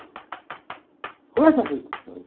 Como é que eu fico?